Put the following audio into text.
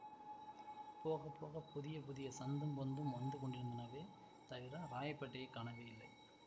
போக போக புதிய புதிய சந்தும் பொந்தும் வந்து கொண்டிருந்தனவே தவிர ராயப்பேட்டையைக் காணவேயில்லை